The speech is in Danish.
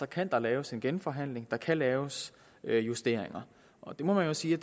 kan der laves en genforhandling så kan der laves justeringer og det må man jo sige